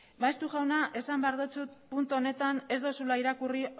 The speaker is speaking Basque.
maeztu jauna esan behar dizut puntu honetan ez duzula irakurri